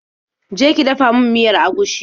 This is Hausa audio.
Je ki dafa min miyar agushi.